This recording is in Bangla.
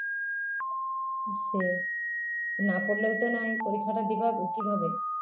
সেই না পড়লেও তো নয় পরীক্ষাটা দিবা কিভাবে